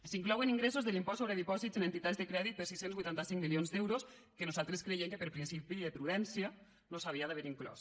s’inclouen ingressos de l’impost sobre dipòsits en entitats de crèdit per sis cents i vuitanta cinc milions d’euros que nosaltres creiem que per principi de prudència no s’havien d’haver inclòs